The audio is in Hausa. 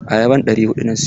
Ayaban ɗari huɗu na siyo.